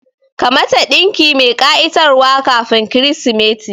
Ka mata ɗinki mai ƙa'itar wa kafin kirismeti